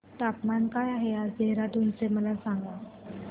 तापमान काय आहे आज देहराडून चे मला सांगा